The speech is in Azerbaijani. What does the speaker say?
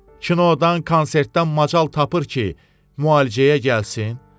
Kinodan, konsertdən macal tapır ki, müalicəyə gəlsin?